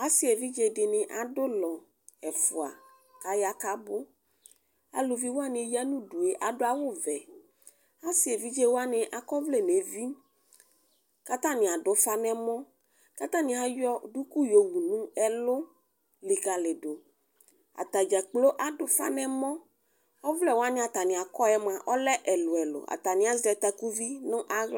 Asi evidze dini adʋ ʋlɔ ɛfʋa kaya kʋ abʋ alʋvi wani ya nʋ ʋdʋe adʋ awʋvɛ asi evidze wani akɔ ɔvlɛ nʋ evi kʋ atani adʋ ʋfa nʋ ɛmɔ kʋ atani ayɔ dʋkʋ yowʋ nʋ ɛlʋ likali dʋ atani dza kplo adʋ ʋfa nʋ ɛmɔ ɔvlɛwani atani akɔ yɛmʋa ɔlɛ elʋ ɛlʋ atani azɛ takʋvi nʋ aɣla